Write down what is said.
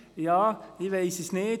Ja, ich weiss es nicht.